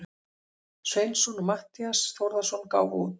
Sveinsson og Matthías Þórðarson gáfu út.